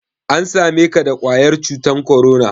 An same ka da ƙwayar cutan korona?